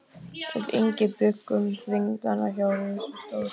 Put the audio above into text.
Við Ingi bjuggum þingdagana hjá ritstjóra